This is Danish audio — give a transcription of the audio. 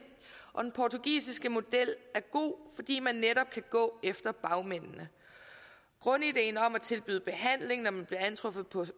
og den portugisiske model er god fordi man netop kan gå efter bagmændene grundideen om at man tilbydes behandling når man bliver antruffet på